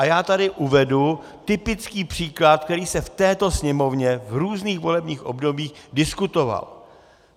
A já tady uvedu typický příklad, který se v této Sněmovně v různých volebních obdobích diskutoval.